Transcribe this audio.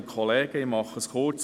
Ich mache es kurz: